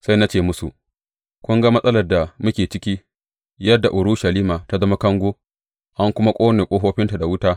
Sai na ce musu, Kun ga matsalar da muke ciki, yadda Urushalima ta zama kango, an kuma ƙone ƙofofinta da wuta.